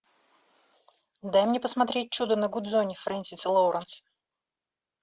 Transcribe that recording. дай мне посмотреть чудо на гудзоне фрэнсиса лоуренса